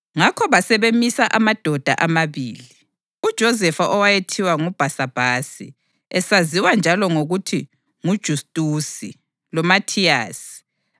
Ngakho basebemisa amadoda amabili, uJosefa owayethiwa nguBhasabhasi (esaziwa njalo ngokuthi nguJustusi) loMathiyasi.